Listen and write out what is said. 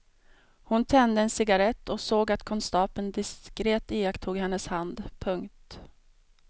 Hon tände en cigarrett och såg att konstapeln diskret iakttog hennes hand. punkt